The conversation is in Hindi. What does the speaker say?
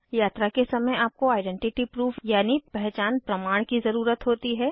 यात्रा के समय आपको आइडेंटिटी प्रूफ यानि पहचान प्रमाण की ज़रुरत होती है